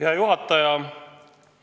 Hea juhataja!